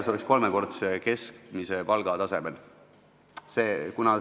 See võiks olla kolmekordse keskmise palga tasemel.